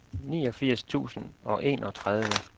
niogfirs tusind og enogtredive